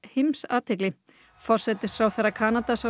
forsetisráðherra Kanada sá sig knúinn til að koma